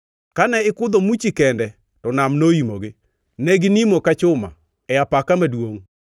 Kane ikudho muchi kende, to nam noimogi. Ne ginimo ka chuma e apaka maduongʼ.